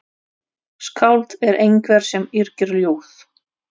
Skáld er einhver sem yrkir ljóð.